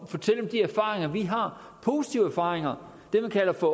de erfaringer vi har positive erfaringer det man kalder for